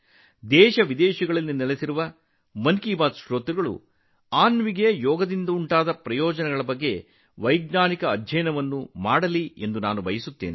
ದೇಶವಿದೇಶಗಳಲ್ಲಿ ಮನ್ ಕಿ ಬಾತ್ ಕೇಳುಗರು ಯೋಗದಿಂದ ಅನ್ವಿಗೆ ಆಗಿರುವ ಪ್ರಯೋಜನಗಳ ಬಗ್ಗೆ ವೈಜ್ಞಾನಿಕ ಅಧ್ಯಯನವನ್ನು ಮಾಡಬೇಕೆಂದು ನಾನು ಬಯಸುತ್ತೇನೆ